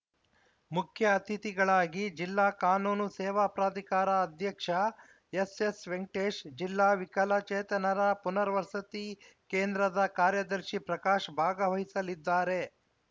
ಮುಖ್ಯ ಅತಿಥಿಗಳಾಗಿ ಜಿಲ್ಲಾ ಕಾನೂನು ಸೇವಾ ಪ್ರಾಧಿಕಾರ ಅಧ್ಯಕ್ಷ ಎಸ್‌ಎಸ್‌ ವೆಂಕಟೇಶ್‌ ಜಿಲ್ಲಾ ವಿಕಲಚೇತನರ ಪುನರ್ವಸತಿ ಕೇಂದ್ರದ ಕಾರ್ಯದರ್ಶಿ ಪ್ರಕಾಶ್‌ ಭಾಗವಹಿಸಲಿದ್ದಾರೆ